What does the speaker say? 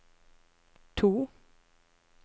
to